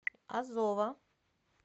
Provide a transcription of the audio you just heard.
азова